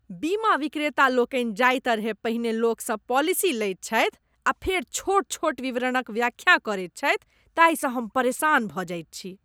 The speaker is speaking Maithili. बीमा विक्रेता लोकनि जाहि तरहेँ पहिने लोकसँ पॉलिसी लैत छथि आ फेर छोट छोट विवरणक व्याख्या करैत छथि ताहिसँ हम परेशान भऽ जाइत छी।